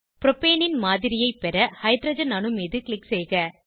ப்ரோப்பேனின் மாதிரியைப் பெற ஹைட்ரஜன் அணு மீது க்ளிக் செய்க